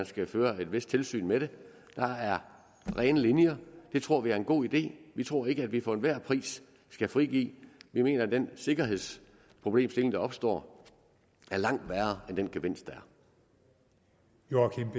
skal føre et vist tilsyn med det der er rene linjer det tror vi er en god idé vi tror ikke at vi for enhver pris skal frigive det vi mener at den sikkerhedsproblemstilling der opstår er langt værre end den gevinst der